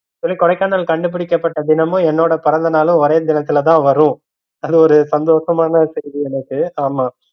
கொடைக்கானல் கண்டுபிக்கப்பட்ட தினமும் என்னோட பிறந்தநாளும் ஒரே தினத்துல தா வரும் அது ஒரு சந்தோசமான செய்தி எனக்கு. ஆமா